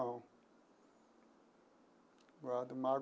Não não guardo mágoa.